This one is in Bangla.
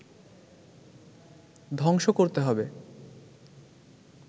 ধ্বংস করতে হবে